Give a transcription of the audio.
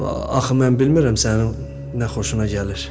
Axı mən bilmirəm sənin nə xoşuna gəlir.